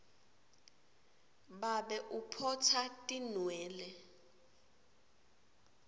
babe uphotsa atinwele